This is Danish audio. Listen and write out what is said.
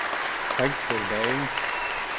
ring tilbage